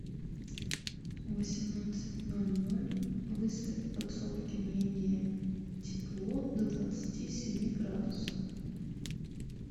в восемнадцать ноль ноль выставь в подсобке менее тепло до двадцати семи градусов